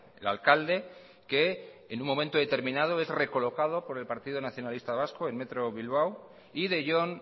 el alcalde que en un momento determinado es recolocado por el partido nacionalista vasco en metro bilbao y de jon